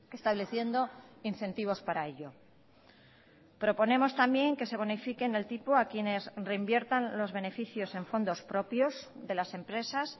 estableciendo incentivos para ello proponemos también que se bonifiquen el tipo a quienes reinviertan los beneficios en fondos propios de las empresas